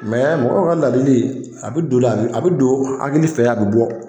mɔgɔw ka ladili a be don hakili fɛ, a be bɔ.